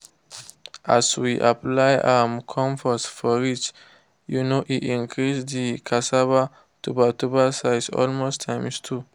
as we apply um compost for ridge um e increase the cassava tuber tuber size almost times two.